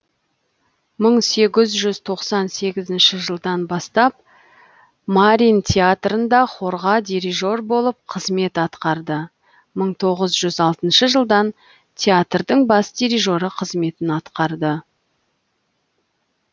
мың сегіз жүз тоқсан сегізінші жылдан бастап мариин театрында хорға дирижер болып қызмет атқарды мың тоғыз жүз алтыншы жылдан театрдың бас дирижері қызметін атқарды